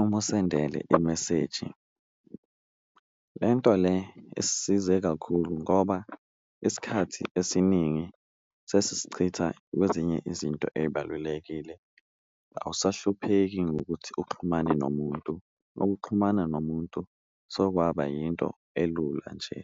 umusendele imeseji, le nto le isisize kakhulu ngoba esikhathi esiningi sesisichitha kwezinye izinto eyibalulekile. Awusahlupheki ngokuthi uxhumane nomuntu ukuxhumana nomuntu sokwaba yinto elula nje.